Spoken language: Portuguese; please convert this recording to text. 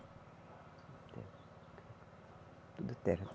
Tudo terra.